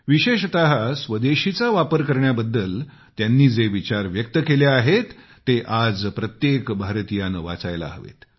विशेषतः स्वदेशीचा वापर करण्याबद्दल त्यांनी जे विचार व्यक्त केले आहेत ते आज प्रत्येक भारतीयाने वाचायला हवेत